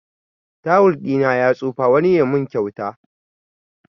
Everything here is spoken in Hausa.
Tawul ɗina ya tsufa, wani ya mun kyauta